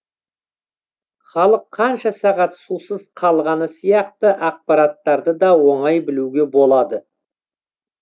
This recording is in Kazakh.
халық қанша сағат сусыз қалғаны сияқты ақпараттарды да оңай білуге болады